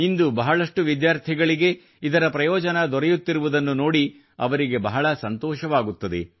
ಇಂದು ಬಹಳಷ್ಟು ವಿದ್ಯಾರ್ಥಿಗಳಿಗೆ ಇದರ ಪ್ರಯೋಜನ ದೊರೆಯುತ್ತಿರುವುದನ್ನು ನೋಡಿ ಅವರಿಗೆ ಬಹಳ ಸತೋಷವಾಗುತ್ತದೆ